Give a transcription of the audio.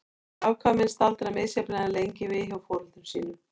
Afkvæmin staldra misjafnlega lengi við hjá foreldrum sínum.